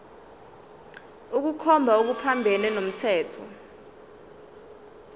ukukhomba okuphambene nomthetho